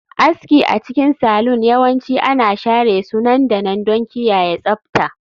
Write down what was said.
Aski a cikin salon yawanci ana share su nan da nan don kiyaye tsabta